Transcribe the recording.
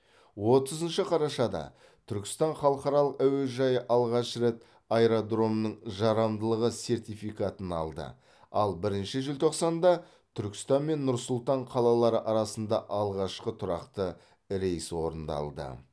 отызыншы қарашада түркістан халықаралық әуежайы алғаш рет аэродромның жарамдылығы сертификатын алды ал бірінші желтоқсанда түркістан мен нұр сұлтан қалалары арасында алғашқы тұрақты рейс орындалды